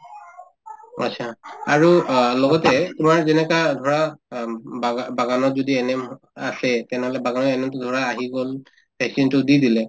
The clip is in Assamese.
অ achha আৰু অ লগতে তোমাৰ যেনেকা ধৰা অম্ বাগা ‍‍বাগানত যদি ANM আছেই তেনেহলে বাগানৰ ANM তো ধৰা আহি গল vaccine তো দি দিলে